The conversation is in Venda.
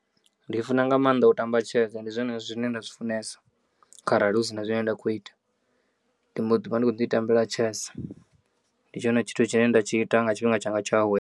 Ndi funa nga maanḓa u tamba tshese, ndi zwone zwine nda zwi funesa kharali hu si na zwine nda khou ita ndi mbo ḓivha ndi kho ḓi tambela tshese ndi tshone tshithu tshine ndatshi ita nga tshifhinga tshanga tsha u awela.